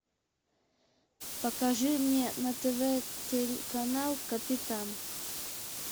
покажи мне на тв телеканал капитан